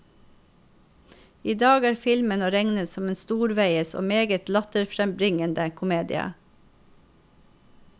I dag er filmen å regne som en storveies og meget latterfrembringende komedie.